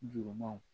Jurumanw